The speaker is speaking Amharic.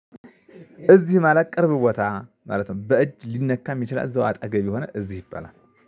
እዚህ ማለት ቅርብ ቦታ ማለት ነው። በእጅ ሊነካ ሚችላል እዛው አጠገብ የሆነ እዚህ ይባላል።